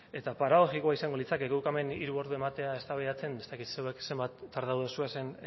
eta paradoxikoa izango litzateke guk hemen hiru ordu ematea eztabaidatzen ez dakit zenbat tardatu dituzuen